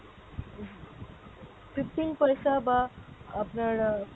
fifteen paisa বা আপনার আহ